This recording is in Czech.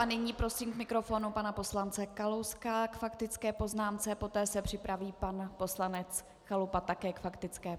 A nyní prosím k mikrofonu pana poslance Kalouska k faktické poznámce, poté se připraví pan poslanec Chalupa také k faktické.